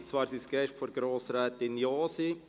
Es sind Gäste der Grossrätin Josi.